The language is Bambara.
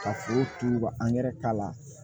Ka foro turu ka k'a la